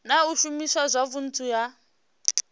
na u shumiswa zwavhudi ha